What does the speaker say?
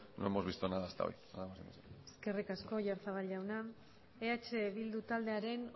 no hemos visto nada hasta hoy nada más eskerrik asko oyarzabal jauna eh bildu taldearen